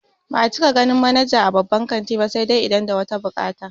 Ba'a cika ganin manaja a babban kanti ba sai dai idan da wata buƙata